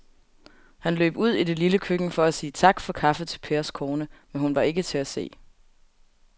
Han løb ud i det lille køkken for at sige tak for kaffe til Pers kone, men hun var ikke til at se.